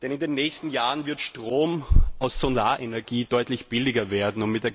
In den nächsten Jahren wird Strom aus Solarenergie nämlich deutlich billiger werden.